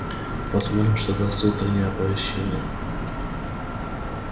посмотрю что даст утреннее оповещение